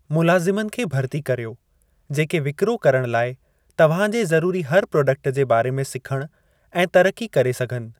मुलाज़िमनि खे भरिती कर्यो जेके विकिरो करण लाइ तव्हां जी ज़रूरी हर प्राडक्ट जे बारे में सिखणु ऐं तरक़ी करे सघनि।